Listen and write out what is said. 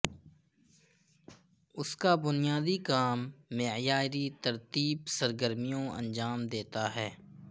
اس کا بنیادی کام معیاری ترتیب سرگرمیوں انجام دیتا ہے